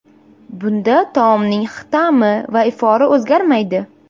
Bunda taomning ta’mi va ifori o‘zgarmaydi.